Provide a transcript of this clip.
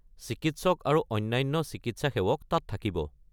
চিকিৎসক আৰু অন্যান্য চিকিৎসা সেৱক তাত থাকিব।